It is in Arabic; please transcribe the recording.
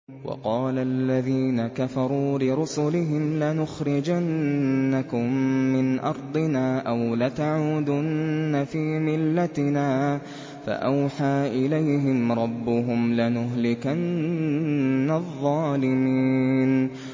وَقَالَ الَّذِينَ كَفَرُوا لِرُسُلِهِمْ لَنُخْرِجَنَّكُم مِّنْ أَرْضِنَا أَوْ لَتَعُودُنَّ فِي مِلَّتِنَا ۖ فَأَوْحَىٰ إِلَيْهِمْ رَبُّهُمْ لَنُهْلِكَنَّ الظَّالِمِينَ